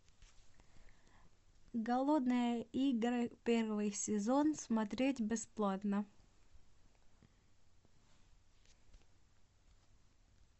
голодные игры первый сезон смотреть бесплатно